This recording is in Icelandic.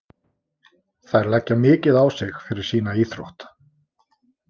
Þær leggja mikið á sig fyrir sína íþrótt.